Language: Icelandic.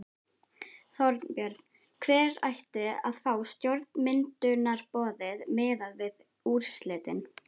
Þorbjörn: Hver ætti að fá stjórnarmyndunarumboðið miðað við úrslitin?